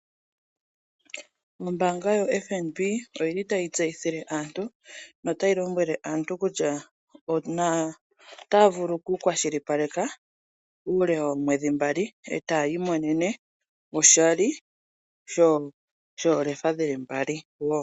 Ombanga yoFnb oyili tayi tseyithile aantu notayi lombwele aantu kutya otaya vulu okukwashilipaleke uule woomwedhi mbali ee taya imonene oshali shoolefa dhili mbali woo.